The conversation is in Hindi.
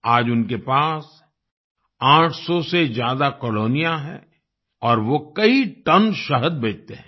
आज उनके पास 800 से ज्यादा कॉलोनियां हैं और वो कई टन शहद बेचते हैं